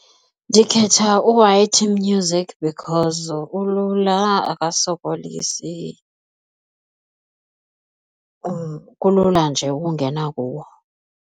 Ndikhetha u-Y_T music because ulula akasokolisi, kulula nje ukungena kuwo.